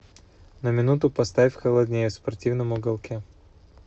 на минуту поставь холоднее в спортивном уголке